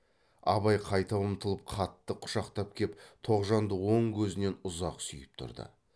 абай қайта ұмтылып қатты құшақтап кеп тоғжанды оң көзінен ұзақ сүйіп тұрды